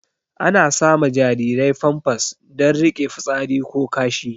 Ana sama jarirai famfas don rike fitsari ko kashi